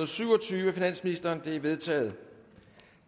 og syv og tyve af finansministeren det er vedtaget